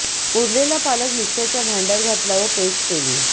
उरलेला पालक मिक्सरच्या भांडय़ात घातला व पेस्ट केली